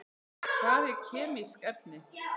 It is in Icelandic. Hvað eru kemísk efni?